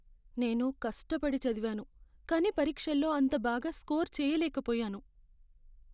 నేను కష్టపడి చదివాను, కానీ పరీక్షల్లో అంత బాగా స్కోర్ చెయ్యలేకపోయాను.